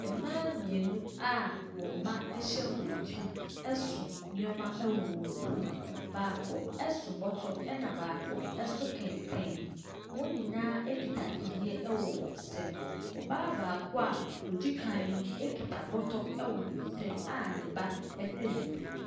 Mmaa mmienu a wɔn mma hyɛ wɔn akyi so nneɛma wɔ wɔn ti. Baako so bɔtɔ ɛna baako so kɛntɛn. Wɔn nyinaa kita kyinniiɛ wɔ wɔn nsam. Ↄbaa baako a ɔdi kan no kita bɔtɔ wɔ ne nsam a ne ba hyɛ n’akyi.